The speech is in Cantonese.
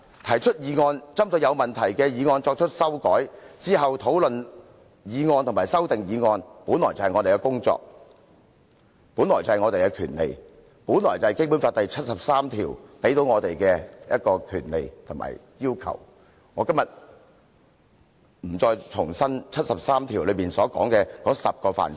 提出議案、針對有問題的議案作出修訂，然後討論議案和修訂議案，這些本來便是我們的工作和權利，是《基本法》第七十三條賦予我們的權利和對我們的要求，我今天不打算重複《基本法》第七十三條訂明的10個範疇。